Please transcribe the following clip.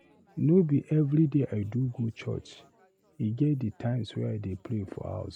No be everyday I do go church, e get di times I dey pray for house.